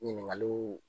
Ɲininkaliw